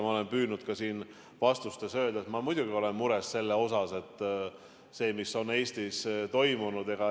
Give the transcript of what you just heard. Ma olen püüdnud ka siin vastustes öelda, et ma muidugi olen mures selle pärast, mis Eestis on toimunud.